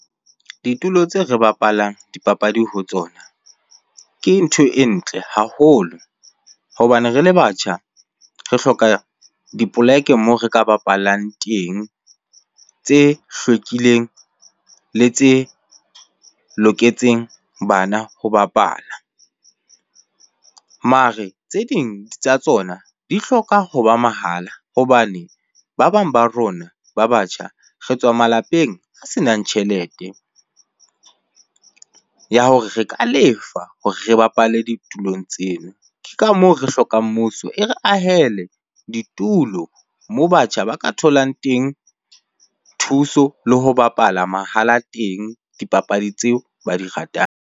Ditulo tseo re bapalang dipapadi ho tsona ke ntho e ntle haholo. Hobane re le batjha, re hloka dipoleke moo re ka bapallang teng, tse hlwekileng le tse loketseng bana ho bapala. Mare tse ding tsa tsona di hloka hoba mahala hobane ba bang ba rona, ba batjha re tswa malapeng a senang tjhelete ya hore re ka lefa hore re bapale ditulong tseno. Ke ka moo re hlokang mmuso e re ahele ditulo moo batjha ba ka tholang teng thuso le ho bapala mahala teng dipapadi tseo ba di ratang.